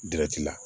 la